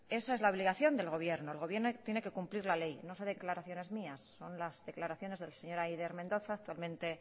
esa es la obligación del gobierno el gobierno tiene que cumplir la ley no son declaraciones mías son las declaraciones de la señora eider mendoza actualmente